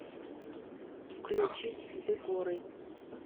включить декоры